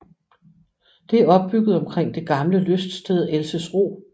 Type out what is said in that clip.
Det er opbygget omkring det gamle lyststed Elsesro